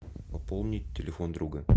пополнить телефон друга